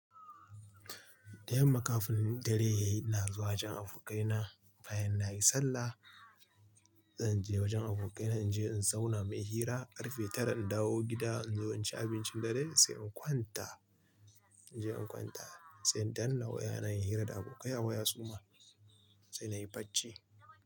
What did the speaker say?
Da yamma kafin dare yayi ina zuwa wajen abokaina bayan nayi sallah. Zan je wajen abokaina in je in zauna muyi hira, karfe tara in dawo gida in zo in ci abincin dare sai in kwanta. In je in kwanta sai danna wayana inyi hira da abokai wa ya suma sai nayi bacci.